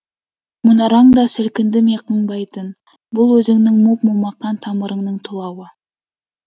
мұнараң да сілкінді ме қыңбайтын бұл өзіңнің моп момақан тамырыңның тұлауы